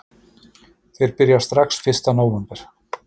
Þeir byrja strax fyrsta nóvember